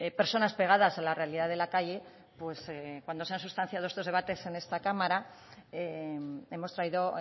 personas pegadas a la realidad de la calle pues cuando se han sustanciado estos debates en esta cámara hemos traído